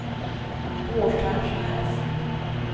Båtskärsnäs